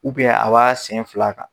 a b'a sen fila kan.